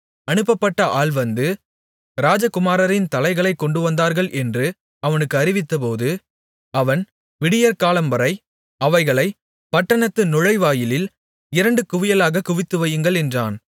அனுப்பப்பட்ட ஆள் வந்து ராஜகுமாரரின் தலைகளைக் கொண்டுவந்தார்கள் என்று அவனுக்கு அறிவித்தபோது அவன் விடியற்காலம்வரை அவைகளை பட்டணத்து நுழைவாயிலில் இரண்டு குவியலாகக் குவித்து வையுங்கள் என்றான்